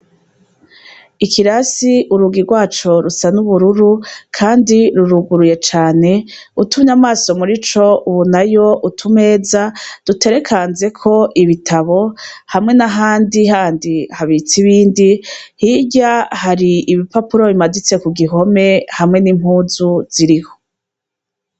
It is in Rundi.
Ikirasi urugi rwaco rusa n'ubururu, kandi ruruguruye cane utumye amaso muri co ubunayo utumeza duterekanzeko ibitabo hamwe na handi handi habitsa ibindi hirya hari ibipapuro bimaditse ku gihome hamwe n'impuzu ziriiho.